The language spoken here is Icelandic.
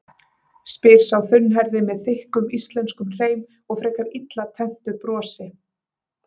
spyr sá þunnhærði með þykkum íslenskum hreim og frekar illa tenntu brosi.